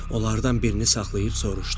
Onlardan birini saxlayıb soruşdu.